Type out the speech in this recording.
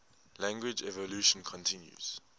language evolution continues